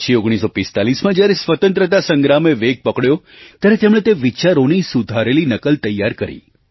પછી 1945માં જ્યારે સ્વતંત્રતા સંગ્રામે વેગ પકડ્યો ત્યારે તેમણે તે વિચારોની સુધારેલી નકલ તૈયાર કરી